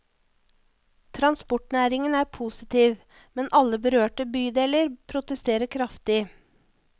Transportnæringen er positiv, men alle berørte bydeler protesterer kraftig.